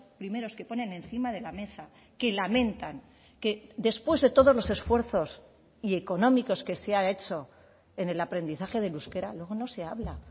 primeros que ponen encima de la mesa que lamentan que después de todos los esfuerzos y económicos que se han hecho en el aprendizaje del euskera luego no se habla